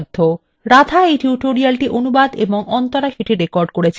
রাধা এই tutorialটি অনুবাদ এবং অন্তরা এটি রেকর্ড করেছেন